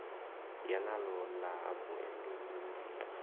ya naḽo ḽa muendeulu ni